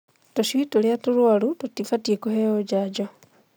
Tũcui tũrĩa tũrwaru tũtibatiĩ kũheo njanjo.